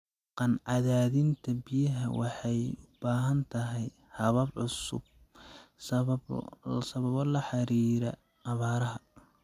Dhaqan-cadaadinta biyaha waxay u baahan tahay habab cusub sababo la xiriira abaaraha.